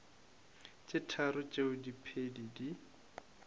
tše tharo tšeo diphedi di